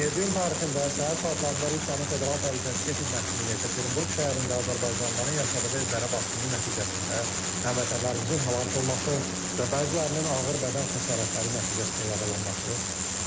27 iyun tarixində səhər saatlarında Rusiyanın Federal Təhlükəsizlik Xidmətinin Yekaterinburq şəhərində azərbaycanlıların yaşadığı evlərə basqının nəticəsində həmvətənlərimizin həlak olması və bəzilərinin ağır bədən xəsarətləri nəticəsində yaralanması,